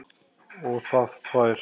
Og það tvær.